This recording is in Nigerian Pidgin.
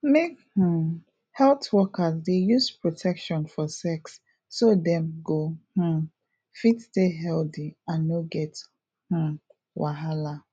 make um health workers dey use protection for sex so dem go um fit stay healthy and no get um wahala